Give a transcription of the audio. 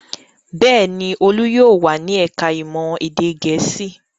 Bẹ́ẹ̀ ni, Olú yóò wà ní ẹ̀ka-ìmọ̀ èdè Gẹ̀ẹ́sì.